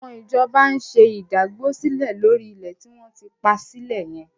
Àwọn ìjọba ń ṣe ìdágbósílẹ̀ lórí ilẹ̀ tí wọ́n ti pa sílẹ̀ yẹn.